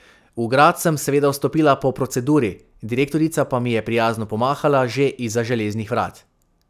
V grad sem seveda vstopila po proceduri, direktorica pa mi je prijazno pomahala že izza železnih vrat.